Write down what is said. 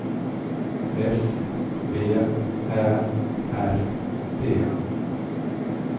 S V Ä R D